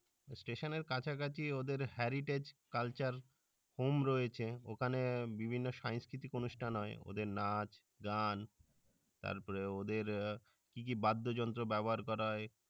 station এর কাছাকাছি ওদের heritage culture home রয়েছে ওখানে বিভিন্ন সাংস্কৃতিক অনুষ্ঠান হয় ওদের নাচ গান তারপর ওদের কি কি বাদ্যযন্ত্র ব্যবহার করা হয়।